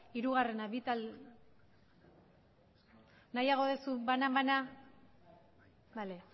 hirugarrena nahiago duzu banan banan bale